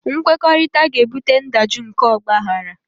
Nkwekọrịta ga-ebute ndajụ nke ọgbaghara